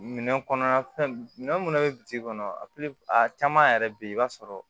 Minɛn kɔnɔ ya fɛn minɛ munnu bɛ bi kɔnɔ a a caman yɛrɛ bɛ ye i b'a sɔrɔ